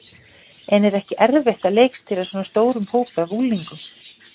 En er ekki erfitt að leikstýra svona stórum hópi af unglingum?